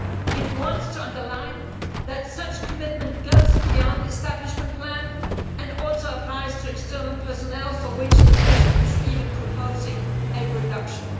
It wants to underline that such commitment goes beyond the establishment plan and also applies to external personnel, for which the Commission is even proposing a reduction.